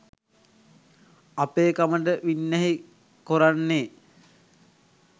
අපේකමට වින්නැහි කොරන්නේ